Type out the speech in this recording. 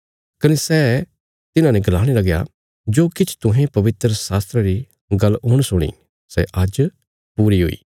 कने सै तिन्हाने गलाणे लगया जो किछ तुहें पवित्रशास्त्रा री गल्ल हुण सुणी सै आज्ज पूरी हुई